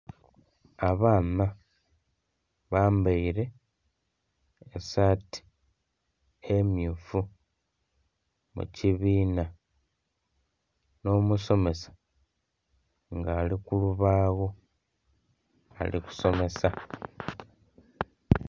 Abaana bambaire esaati emmyufu mu kibiina n'omusomesa nga ali kulubawo ali kusomesa.